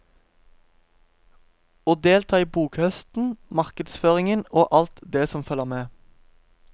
Å delta i bokhøsten, markedsføringen og alt det som følger med.